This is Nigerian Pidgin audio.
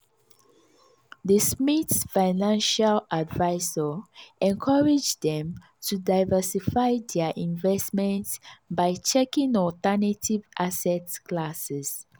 di smiths' financial advisor encourage dem to diversify dia investments by checking alternative asset classes.